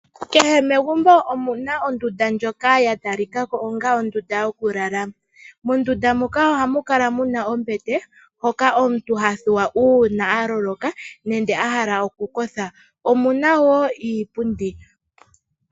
Kehe megumbo omuna ondunda ndjoka ya talikako onga ondunda yoku lala. Mondunda muka oha mu kala muna ombete, mpoka omuntu ha thuwa uuna a loloka nenge a hala oku kotha. Omuna woo iipundi.